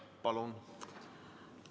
Palun!